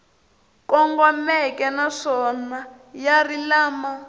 kongomeke naswona ya ri lama